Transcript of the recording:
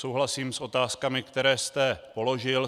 Souhlasím s otázkami, které jste položil.